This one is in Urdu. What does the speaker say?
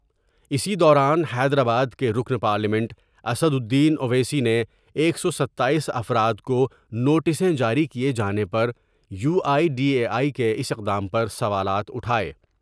اسی دوران حیدرآباد کے رکن پارلیمنٹ اسدالدین اویسی نے ایک سو ستاییس افراد کونوٹسیں جاری کیے جانے پر U I D A I کے اس اقدام پر سوالات اٹھاۓ ۔